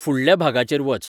फुुडल्या भागाचेर वच